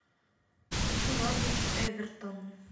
хочу норвич эвертон